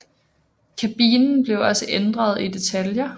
Kabinen blev også ændret i detaljer